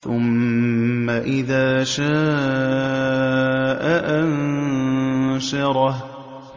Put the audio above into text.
ثُمَّ إِذَا شَاءَ أَنشَرَهُ